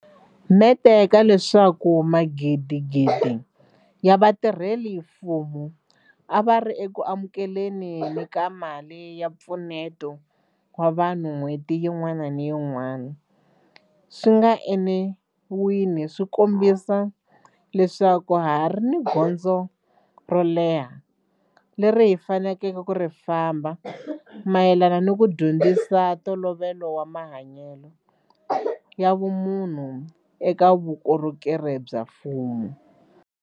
Mente ka leswaku magidigidi ya vatirhela mfumo a va ri eku amukele ni ka mali ya mpfuneto wa vanhu n'hweti yin'wana ni yin'wana swi nga enawini swi kombisa leswaku ha ha ri ni gondzo ro leha leri hi faneleke ku ri famba mayelana ni ku dyondzisa ntolovelo wa mahanyelo ya vumunhu eka vukorhokeri bya mfumo.